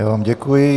Já vám děkuji.